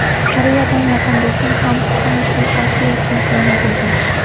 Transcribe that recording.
Koreyadan yaqin do‘stim bor Hon Kyu Osiyo chempioni bo‘ldi.